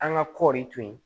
An ka kɔɔri to yen